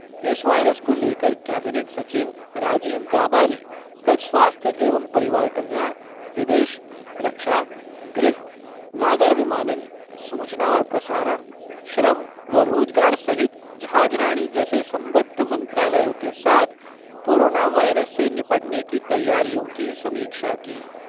इस वायरस को लेकर कैबिनेट सचिव राजीव गाबा ने कल स्वास्थ्य एवं परिवार कल्याण, विदेश, रक्षा, गृह, नागर विमानन, सूचना और प्रसारण, श्रम व रोजगार सहित जहाजराणी जैसे संबद्ध मंत्रालयों के साथ कोरोना वायरस से निपटने की तैयारियों की समीक्षा की।